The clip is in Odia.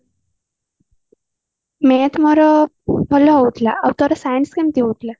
math ମୋର ଭଲ ହଉଥିଲା ଆଉ ତୋର science କେମିତି ହଉଥିଲା